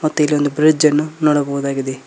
ಮತ್ತೆ ಇಲ್ಲೊಂದು ಬ್ರಿಜ್ ಅನ್ನು ನೋಡಬಹುದಾಗಿದೆ.